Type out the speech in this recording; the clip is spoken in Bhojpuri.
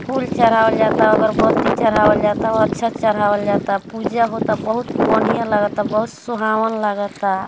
फूल चराहवल जाता अगबत्ती चहरावल जाता उ अच्छा चढ़ावल जाता पूजा होता बहुत बोंढ़िया लगता बहुत सुहावन लगाता।